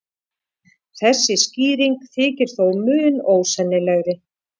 Þessi skýring þykir þó mun ósennilegri.